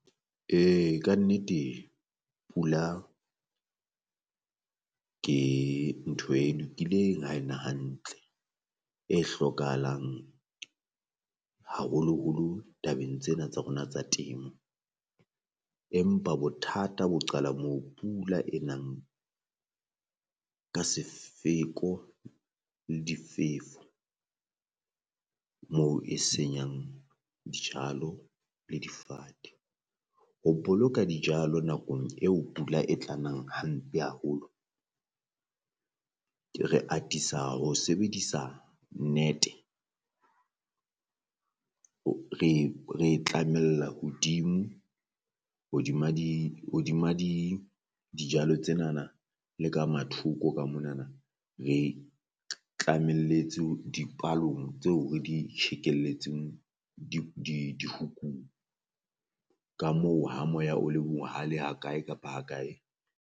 Ee ka nnete pula ke ntho e lokileng ha e na hantle e hlokahalang haholoholo tabeng tsena tsa rona tsa temo, empa bothata bo qala moo pula e nang ka sefeko le difefo. Moo e senyang dijalo le difate, ho boloka dijalo nakong eo pula e tlang hampe haholo ke re atisa ho sebedisa net-e re e tlamella hodimo hodima di hodima di dijalo tsenana le ka mathoko ka monana, re tlamelletse di palong tseo re di tjhekelletseng dihukung ka moo ha moya o le bohale ha kae kapa kae.